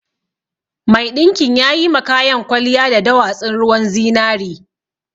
Mai ɗinkin yayi ma kayan kwaliya da dowatsun ruwan zinari